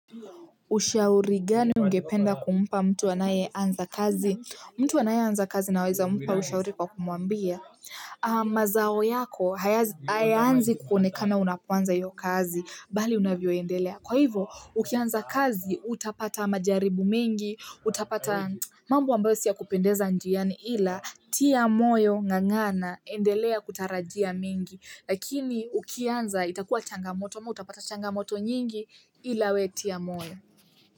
Ushauri gani ungependa kumpa mtu anaye anza kazi? Mtu anaye anza kazi na weza mpa ushauri kwa kumwambia mazao yako, hayaanzi kuonekana unapoanza hiyo kazi, bali unavyoendelea. Kwa hivyo, ukianza kazi, utapata majaribu mengi, utapata mambo ambayosiya kupendeza njiani ila, tia moyo ng'ang'ana, endelea kutarajia mengi. Lakini ukianza itakuwa changamoto ama utapata changamoto nyingi ilawewetia moyo.